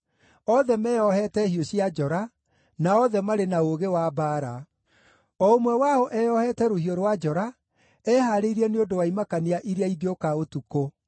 othe meeohete hiũ cia njora, na othe marĩ na ũũgĩ wa mbaara, o ũmwe wao eyohete rũhiũ rwa njora, ehaarĩirie nĩ ũndũ wa imakania iria ingĩũka ũtukũ.